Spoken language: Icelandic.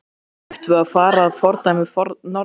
Sindri: Ættum við að fara að fordæmi Norðmanna?